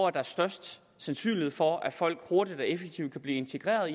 er størst sandsynlighed for at folk hurtigt og effektivt kan blive integreret